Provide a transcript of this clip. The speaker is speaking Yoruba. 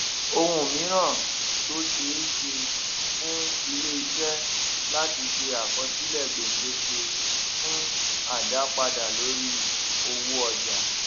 ohun míràn tó ṣeéṣe ni fún iléiṣé láti ṣe àkọsílè gbèdéke fún àdápadà lórí owó ọjà